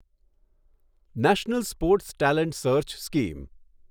national sports talent search scheme